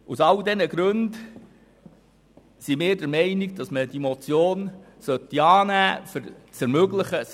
Aus all diesen Gründen sind wir der Meinung, dass man diese Motion annehmen sollte, um eine Überprüfung zu ermöglichen.